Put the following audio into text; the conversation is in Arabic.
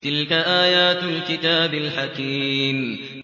تِلْكَ آيَاتُ الْكِتَابِ الْحَكِيمِ